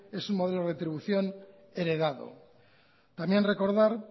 es un modelo de retribución heredado también recordar